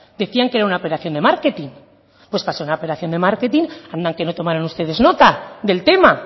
decían que era una operación de marketing pues para ser una operación de marketing anda que tomaron ustedes nota del tema